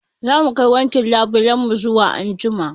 Zamu kai wankin labulen mu zuwa anjima